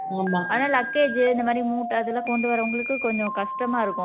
ஆமா அதனால luggage இந்த மாதிரி மூட்டை இதெல்லாம் கொண்டு வர்றவங்களுக்கு கொஞ்சம் கஷ்டம் தான் இருக்கும்